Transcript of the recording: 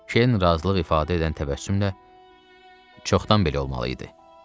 Kern razılıq ifadə edən təbəssümlə: “Çoxdan belə olmalı idi,” dedi.